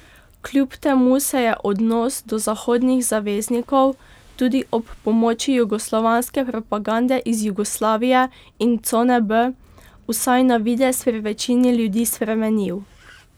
Kljub temu se je odnos do zahodnih zaveznikov, tudi ob pomoči jugoslovanske propagande iz Jugoslavije in cone B, vsaj na videz pri večini ljudi spremenil.